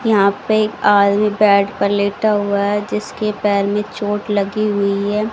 यहां पे एक आदमी बेड पर लेटा हुआ है जिसके पैर में चोट लगी हुई है।